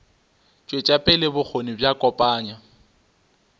tšwetša pele bokgoni bja kopanya